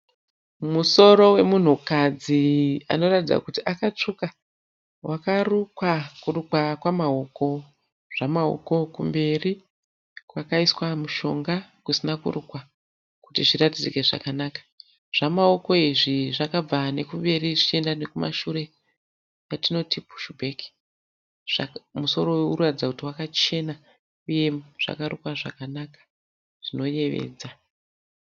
Musoro wemunhu kadzi anoratidza kuti akatsvuka. Wakarukwa kurukwa kwamaoko, zvamaoko kumberi kwakaiswa mushonga kusina kurukwa kuti zviratidzike zvakanaka. Zvamaoko izvi zvakabva nekumberi zvichienda nekumashure yatinoti pushu bheki. Musoro uyu urikuratidza kuti wakachena uye zvakarukwa zvakanaka zvinoyevedza.